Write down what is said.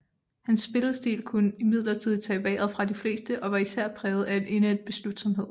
Hans spillestil kunne imidlertid tage vejret fra de fleste og var især præget af en indædt beslutsomhed